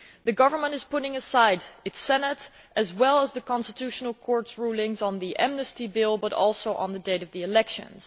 The government is putting aside its Senate, as well as the Constitutional Court's rulings on the Amnesty Bill and on the date of the elections.